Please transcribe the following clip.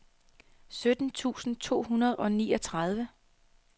sytten tusind to hundrede og niogtredive